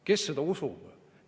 Kes seda usub?